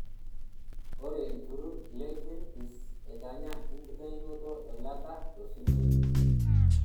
Ore olturrur le Greenpeace netanya enkitainoto eilata tosunyai .